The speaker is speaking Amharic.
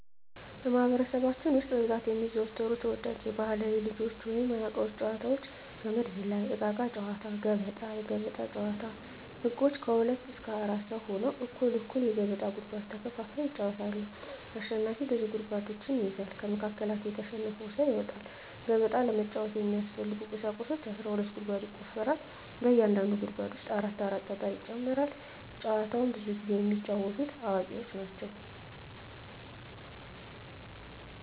በማህበረሰባችን ውስጥ በብዛት የሚዘወተሩ ተወዳጅ ባህላዊ የልጆች ወይንም የአዋቂዎች ጨዋታዎች - ገመድ ዝላይ፣ እቃቃ ጨዎታ፣ ገበጣ። ገበጣ ጨዎታ ህጎች ከሁለት እስከ አራት ሰው ሁነው እኩል እኩል የገበጣ ጉድጓድ ተከፋፍለው ይጫወታሉ አሸናፊው ብዙ ጉድጓዶችን ይይዛል ከመሀከላቸው የተሸነፈው ሰው ይወጣል። ገበጣ ለመጫወት የሚያስፈልጊ ቁሳቁሶች አስራ ሁለት ጉድጓድ ይቆፈራል በእያንዳንዱ ጉድጓድ ውስጥ አራት አራት ጠጠር ይጨመራል። ጨዎቸውን ብዙውን ጊዜ የሚጫወቱት አዋቂዎች ናቸው።